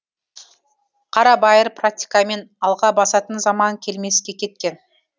қарабайыр практикамен алға басатын заман келмеске кеткен